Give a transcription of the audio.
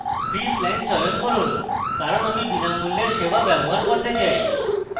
free plan চয়ন করব কারণ আমি বিনামূল্যের সেবা ব্যবহার করতে চাই